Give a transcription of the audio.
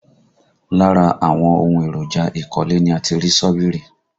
Lára àwọn ohun èròjà ìkọ́lé ni a ti rí ṣọ́bìrì